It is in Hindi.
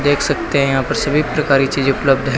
देख सकते हैं यहां पर सभी प्रकार की चीजें उपलब्ध हैं।